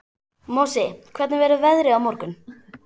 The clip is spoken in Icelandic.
Mosi, hvernig verður veðrið á morgun?